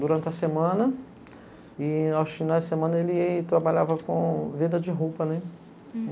durante a semana e aos finais de semana ele ia e trabalhava com venda de roupas, né? Hm